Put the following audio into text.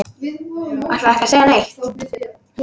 Ætlarðu ekki að segja neitt?